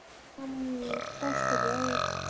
кто что делает